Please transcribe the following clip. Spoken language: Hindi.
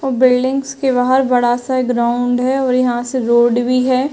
और बिल्डिंग्स के बाहर बड़ा सा ग्राउंड है और यहां से रोड भी है।